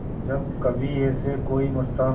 जब कभी ऐसे कोई मस्ताना